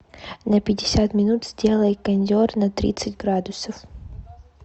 на пятьдесят минут сделай кондер на тридцать градусов